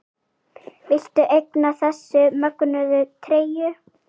Viltu eignast þessa mögnuðu treyju?